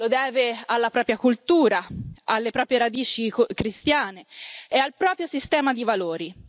Lo deve alla propria cultura, alle proprie radici cristiane e al proprio sistema di valori.